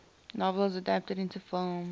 novels adapted into films